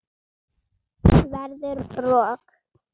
Verður rok.